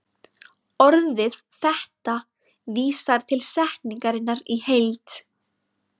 Orðið þetta vísar til setningarinnar í heild.